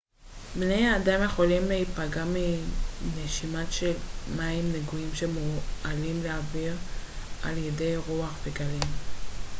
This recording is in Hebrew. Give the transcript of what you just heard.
בני אדם יכולים להיפגע מנשימת של מים נגועים שמועלים לאוויר על ידי רוח וגלים